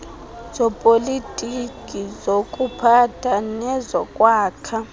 zopolitiko zokuphatha nezokwakha